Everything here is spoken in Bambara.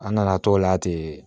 An nana t'o la ten